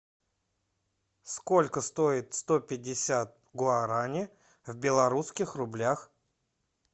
сколько стоит сто пятьдесят гуарани в белорусских рублях